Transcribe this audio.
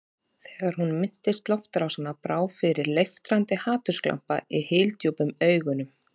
Þegar hún minntist loftárásanna brá fyrir leiftrandi hatursglampa í hyldjúpum augunum.